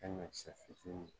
fitiininw